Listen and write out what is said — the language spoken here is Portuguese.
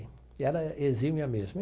E ela exime a mesma.